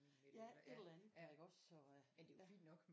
Ja et eller andet der iggås så øh ja